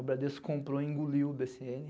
O Bradesco comprou e engoliu o bê cê ene.